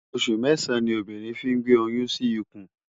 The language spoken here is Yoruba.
Óṣù mèsán ni óbírìn fi n gbé óyùn si ikún